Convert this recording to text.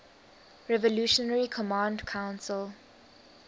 revolutionary command council